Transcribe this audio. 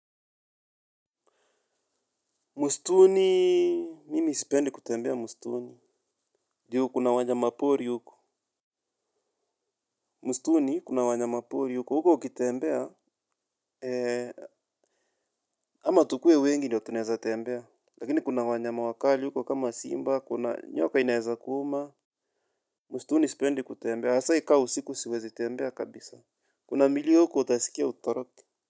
Mistuni, mimi sipendi kutembea mistuni. Juu kuna wanyama pori huko. Mistuni kuna wanyama pori huko. Huko ukitembea, ama tukuwe wengi ndio tunaeza tembea. Lakini kuna wanyama wakali huko kama simba, kuna nyoka inaeza kuuma. Mustuni isipendi kutembea. Hasaa ikawe usiku siwezi tembea kabisa. Kuna milio huko utasikia utoroke.